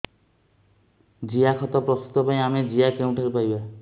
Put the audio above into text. ଜିଆଖତ ପ୍ରସ୍ତୁତ ପାଇଁ ଆମେ ଜିଆ କେଉଁଠାରୁ ପାଈବା